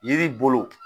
Yiri bolo